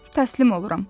Təslim oluram.